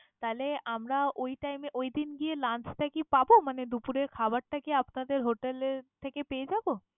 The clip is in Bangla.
তাহলে আমরা ওই time এ ঐদিন গিয়ে lunch টা কি পাবো? মানে দুপুরের খাবারটা কি আপনাদের hotel এর থেকে পেয়ে যাবো?